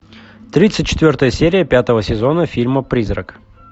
тридцать четвертая серия пятого сезона фильма призрак